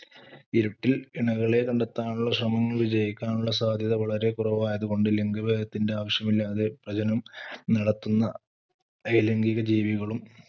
ഇരുട്ടിൽ ഇണകളെ കണ്ടെത്താനുള്ള ശ്രമങ്ങൾ വിജയിക്കാനുള്ള സാധ്യത വളരെ കുറവായതുകൊണ്ട് ലിംഗഭേദത്തിന്റെ ആവശ്യമില്ലാതെ പ്രജനനം നടത്തുന്ന അലൈംഗികജീവികളും